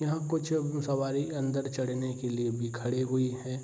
यहाँ कुछ सवारी अंदर चढ़ने के लिए भी खड़े हुई हैं।